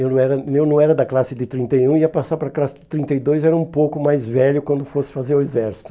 Eu não era eu não era da classe de trinta e um, ia passar para a classe de trinta e dois, era um pouco mais velho quando fosse fazer o exército.